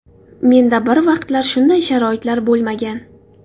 Menda bir vaqtlar shunday sharoitlar bo‘lmagan.